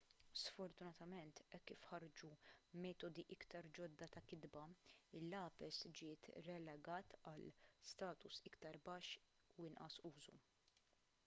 sfortunatament hekk kif ħarġu metodi iktar ġodda ta' kitba il-lapes ġiet relegat għal status iktar baxx u inqas użu